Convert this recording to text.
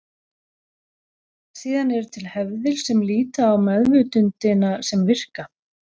Síðan eru til hefðir sem líta á meðvitundina sem virka.